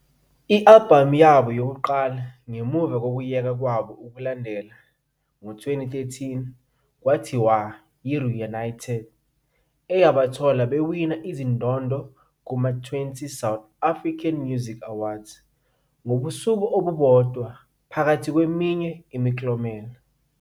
I-albhamu yabo yokuqala ngemuva kokuyeka kwabo ukulandela ngo-2013 kwathiwa "yiReunited eyabathola" bewina izindondo kuma-20 South Africa Music Awards ngobusuku obubodwa phakathi kweminye imiklomelo.